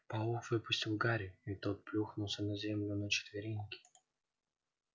паук выпустил гарри и тот плюхнулся на землю на четвереньки